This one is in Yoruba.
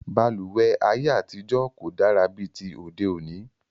Balùwẹ́ ayé àtijọ́ kò dára bí ti òde òní